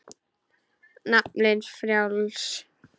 Naflinn frjáls.